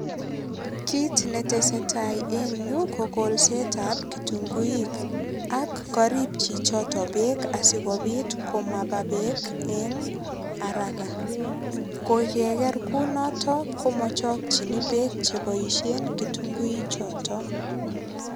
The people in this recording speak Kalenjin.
Kit netesetai eng yu kolset ab kitunguik. Ak karip chichoto beek asigopit komapa beek eng araka. Koikeger kunoto komachokchini beek cheboisie kitunguinik choto.